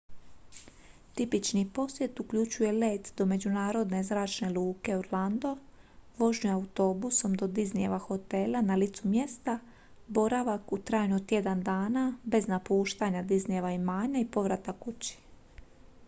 tipični posjet uključuje let do međunarodne zračne luke orlando vožnju autobusom do disneyjeva hotela na licu mjesta boravak u trajanju od tjedan dana bez napuštanja disneyjeva imanja i povratak kući